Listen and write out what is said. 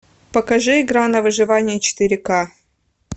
покажи игра на выживание четыре ка